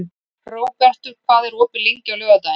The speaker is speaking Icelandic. Hróbjartur, hvað er opið lengi á laugardaginn?